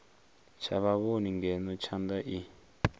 tsha vhavhoni ngeno thanda i